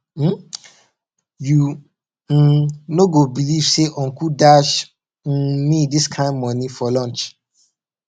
um you um no go believe say uncle dash um me dis kin money for lunch